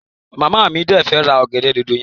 Mama mi de fẹ́ ra ọgẹ̀dẹ̀ dòdò yẹn.